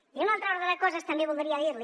i en un altre ordre de coses també voldria dir li